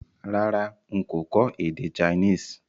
Rárá n kò kọ́ èdè Chinese